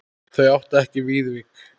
Þau áttu ekki Viðvík.